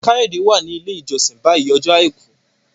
Kayode wá ní ilé ìjósìn bayí Ọjọ́ aìkú.